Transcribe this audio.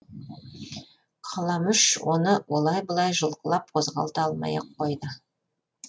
қаламұш оны олай былай жұлқылап қозғалта алмай ақ қойды